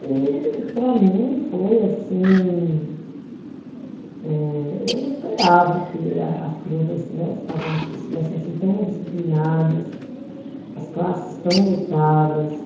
E, para mim, foi assim, eh, eu não esperava que a as crianças estivessem, estavam assim, estivessem assim tão indisciplinadas, as classes tão lotadas.